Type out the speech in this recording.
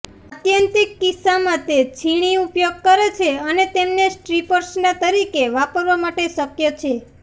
આત્યંતિક કિસ્સામાં તે છીણી ઉપયોગ કરે છે અને તેમને સ્ટ્રિપર્સના તરીકે વાપરવા માટે શક્ય છે